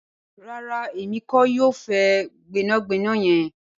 Rárá, emi kìí yọ fẹ́ gbẹnàgbẹ̀nà yẹn.